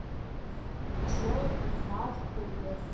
og svo er það búið.